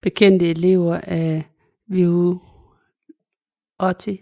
Bekendte elever af Viotti